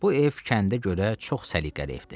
Bu ev kəndə görə çox səliqəli evdir.